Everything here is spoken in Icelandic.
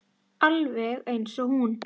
Alveg eins og hún.